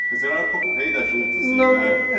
Você era um pouco rei da juta, assim, né?